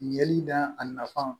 Yeli da a nafa